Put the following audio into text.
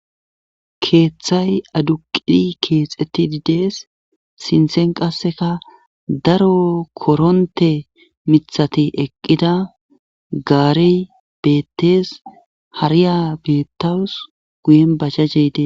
keeththay aduqidi keexeti didees sinthen qasseka daro koronte mithati eqqida gaarey beettees hariya bettawus guyen bajjajjeydee